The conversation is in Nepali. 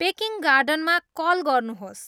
पेकिङ गार्डनमा कल गर्नुहोस्